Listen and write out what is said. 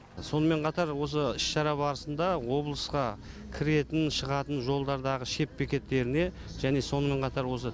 сонымен қатар осы іс шара барысында облысқа кіретін шығатын жолдардағы шет бекеттеріне және сонымен қатар осы